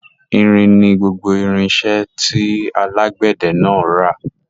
Irin ni gbogbo irinṣẹ́ tí alágbẹ̀dẹ náà ń ra.